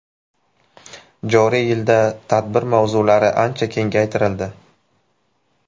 Joriy yilda tadbir mavzulari ancha kengaytirildi.